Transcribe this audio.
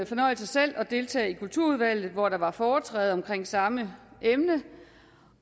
fornøjelse selv at deltage i kulturudvalget hvor der var foretræde om samme emne